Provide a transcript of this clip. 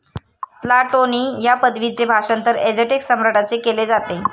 Tlatoani ह्या पदवीचे भाषांतर 'एझटेक सम्राट' असे केले जाते.